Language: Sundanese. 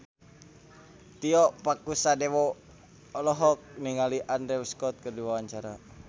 Tio Pakusadewo olohok ningali Andrew Scott keur diwawancara